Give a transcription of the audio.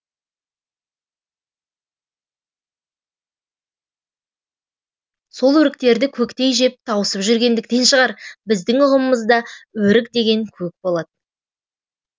сол өріктерді көктей жеп тауысып жүргендіктен шығар біздің ұғымымызда өрік деген көк болады